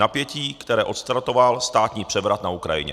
Napětí, které odstartoval státní převrat na Ukrajině.